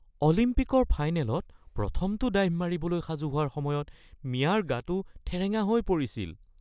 অলিম্পিকৰ ফাইনেলত প্ৰথমটো ডাইভ মাৰিবলৈ সাজু হোৱাৰ সময়ত মিয়াৰ গাটো ঠেৰেঙা হৈ পৰিছিল